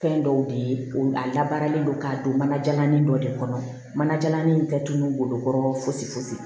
Fɛn dɔw de ye o a labaralen don k'a don mana jalan dɔ de kɔnɔ manajalan in tɛ tununi bolokɔrɔ fosi fosi